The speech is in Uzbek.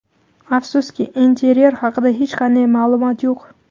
Afsuski, interyer haqida hech qanday ma’lumot yo‘q.